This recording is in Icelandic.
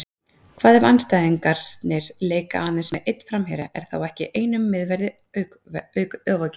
Hvað ef andstæðingarnir leika aðeins með einn framherja, er þá ekki einum miðverði ofaukið?